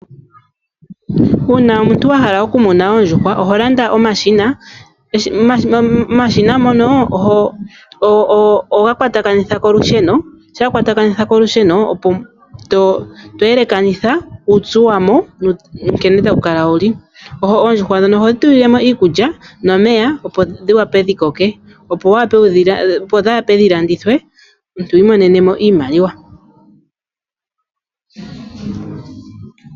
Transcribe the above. Una omuntu wahala okumuna oondjuhwa oholanda omashina, omashina ngono oho ga kwatakanitha kolusheno, sha wakwatakanitha kolusheno etoyelakanitha uupyu wamo nkene tawukala wuli, oondjuhwa dhono ohodhi tulilwamo iikulya nomeya opo dhiwape dhikoke opo dhape dhilandithwe omuntu wimonene iimaliwa.